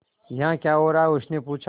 यहाँ क्या हो रहा है उसने पूछा